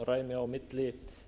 samræmi á milli